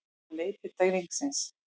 Hann leit til drengsins.